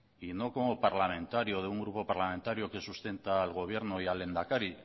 y no como parlamentario de un grupo parlamentario que sustenta al gobierno y al lehendakari